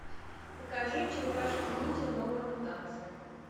покажи черепашки ниндзя новая мутация